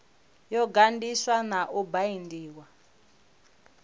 yo ganḓiswa na u baindiwa